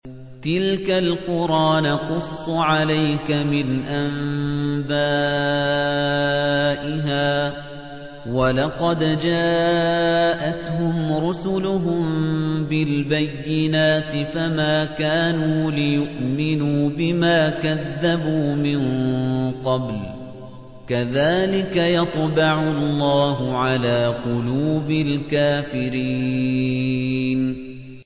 تِلْكَ الْقُرَىٰ نَقُصُّ عَلَيْكَ مِنْ أَنبَائِهَا ۚ وَلَقَدْ جَاءَتْهُمْ رُسُلُهُم بِالْبَيِّنَاتِ فَمَا كَانُوا لِيُؤْمِنُوا بِمَا كَذَّبُوا مِن قَبْلُ ۚ كَذَٰلِكَ يَطْبَعُ اللَّهُ عَلَىٰ قُلُوبِ الْكَافِرِينَ